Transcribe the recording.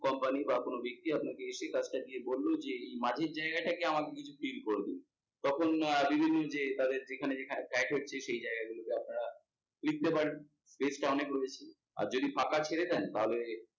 বা কোনো ব্যক্তি আপনাকে সেই কাজটা দিয়ে বললো যে এই মাঝের জায়গাটাকে আমাকে কিছু fill করে দিন। তখন যে তাদের যেখানে যেখানে হচ্ছে সেই জায়গা গুলোকে আপনারা লিখতে পারেন আর যদি ফাঁকা ছেড়ে দেন তাহলে